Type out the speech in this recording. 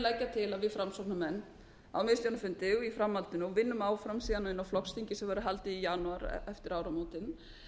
til að við framsóknarmenn á miðstjórnarfundi og í framhaldinu og vinnum síðan áfram inni á flokksþingi sem verður haldið í janúar eftir